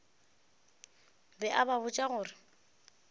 be a ba botša gore